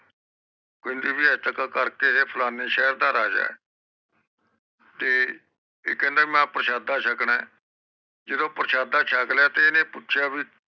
ਕੋਈ ਕਰਕੇ ਕਹਿੰਦੀ ਫਲਾਣੇ ਸ਼ੇਰ ਦਾ ਰਾਜਾ ਆ ਤੇ ਇਹ ਕਹਿੰਦਾ ਵੀ ਮੈਂ ਪ੍ਰਸ਼ਾਦਸ ਸ਼ਕਣਾ ਤੇ ਪ੍ਰਸ਼ਾਦਾ ਸ਼ਕ਼ ਲਿਆ ਵਿਉਈ ਹਨ ਪੁੱਛਿਆ ਵੀ